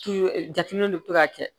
jateminɛw de bi to ka kɛ